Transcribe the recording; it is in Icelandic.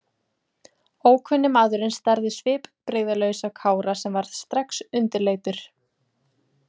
Ókunni maðurinn starði svipbrigðalaus á Kára sem varð strax undirleitur.